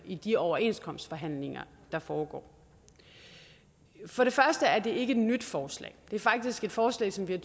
i de overenskomstforhandlinger der foregår for det første er det ikke et nyt forslag det er faktisk et forslag som vi